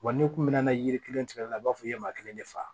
Wa n'i kun mɛnna yiri kelen tigɛli la i b'a fɔ i ye maa kelen de fa